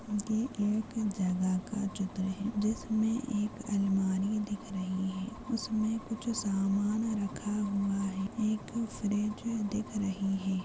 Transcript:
ये एक जगह का चित्र है जिसमे एक अलमारी दिख रही है उसमे कुछ सामान रखा हुआ है एक फ्रिज दिख रही है।